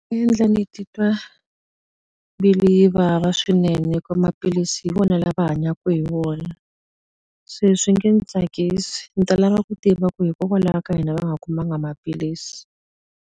endla ni titwa mbiku yi vava swinene hikuva maphilisi hi wona lama va hanyaka hi wona. Se swi nge ni tsakisi, ndzi ta lava ku tiva ku hikokwalaho ka yini va nga kumanga maphilisi.